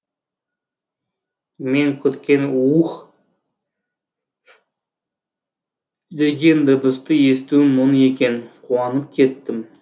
мен күткен у ух деген дыбысты естуім мұң екен қуанып кеттім